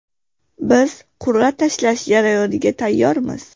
Biz qur’a tashlash jarayoniga tayyormiz.